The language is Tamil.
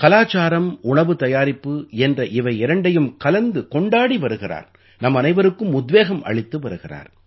கலாச்சாரம் உணவு தயாரிப்பு என்ற இவை இரண்டையும் கலந்துக் கொண்டாடி வருகிறார் நம்மனைவருக்கும் உத்வேகம் அளித்து வருகிறார்